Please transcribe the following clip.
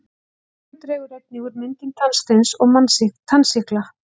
tyggjó dregur einnig úr myndun tannsteins og tannsýklu